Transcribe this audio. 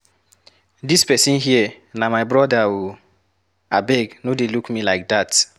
Dis person here na my brother ooo, abeg no dey look me like dat.